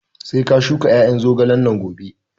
Sai ka shuka ƴaƴan zogalen nan gobe!